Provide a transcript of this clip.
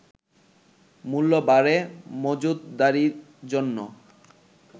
“মূল্য বাড়ে মজুতদারির জন্য